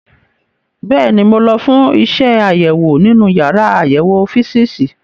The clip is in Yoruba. Bẹ́ẹ̀ni, mo lọ fún iṣẹ́ àṣewò nínú yàrá àyẹ̀wò físììsì.